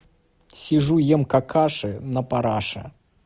сижу ем какаши на параше